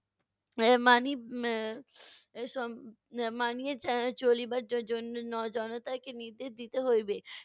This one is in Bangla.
এর মানি~ এর মানিয়ে এর চলিবার জন্য জ~ জনতাকে নির্দেশ দিতে হইবে।